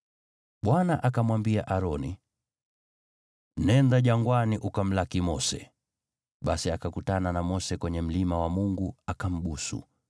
Bwana akamwambia Aroni, “Nenda jangwani ukamlaki Mose.” Basi akakutana na Mose kwenye mlima wa Mungu, akambusu.